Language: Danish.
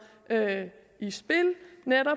i spil